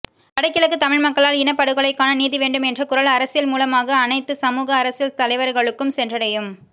வடகிழக்கு தமிழ்மக்களால் இனப்படுகொலைக்கான நீதி வேண்டும் என்ற குரல் அரசியல்மூலமாக அனைத்துல சமூக அரசியல் தலைவர்களுக்கும் சென்றடையும்